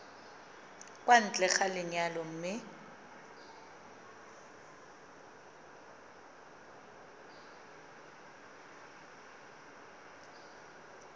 kwa ntle ga lenyalo mme